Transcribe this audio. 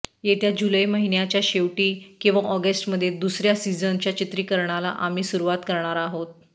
येत्या जुलै महिन्याच्या शेवटी किंवा ऑगस्टमध्ये दुसऱ्या सीझनच्या चित्रीकरणाला आम्ही सुरुवात करणार आहोत